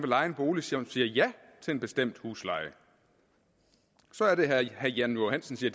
leje en bolig som siger ja til en bestemt husleje så er det herre jan johansen siger